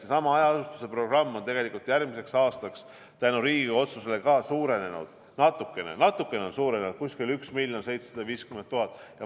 Seesama hajaasustuse programm on tegelikult järgmiseks aastaks tänu Riigikogu otsusele ka suurenenud, natukene on suurenenud, kuskil 1 750 000.